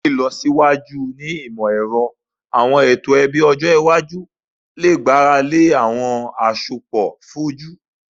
Pẹlu awọn ilọsiwaju ni imọ-ẹrọ, awọn eto ẹbi iwaju le gbarale awọn asopọ foju